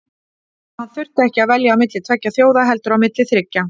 Og hann þurfti ekki að velja á milli tveggja þjóða heldur á milli þriggja.